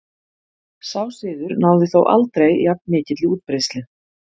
Sá siður náði þó aldrei jafn mikilli útbreiðslu.